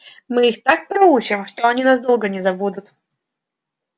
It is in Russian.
мы их так проучим они нас долго не забудут